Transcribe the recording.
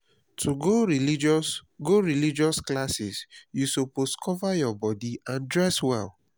to go religious go religious classes you suppose cover your body and dress well